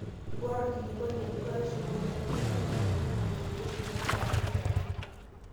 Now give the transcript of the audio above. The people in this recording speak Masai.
ore orkilikuai letuaishu wole tomononishu neing'ori teishoi nabayieki ake